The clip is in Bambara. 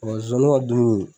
Mɛ zonzani ka dumuni